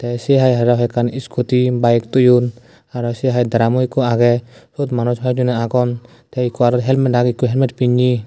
tey sei hai aro hoiekkan iskuti bayek toyon aro sei hai dramo ikko agey siyot manuj hoijon agon tey ikko aro helmet agey ikko helmet pinney.